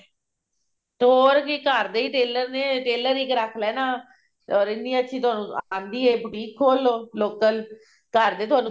ਹੋਰ ਜੇ ਘਰ ਦੇ ਹੀ tailor ਨੇ tailor ਇੱਕ ਰੱਖ ਲੈਣਾ or ਇੰਨੀ ਅੱਛੀ ਤੁਹਾਨੂੰ ਆਉਂਦੀ ਹੈ boutique ਖੋਲ ਲਓ local ਘਰ ਦੇ ਥੋਨੂੰ